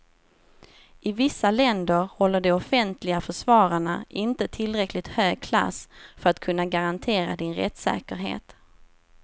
I vissa länder håller de offentliga försvararna inte tillräckligt hög klass för att kunna garantera din rättssäkerhet.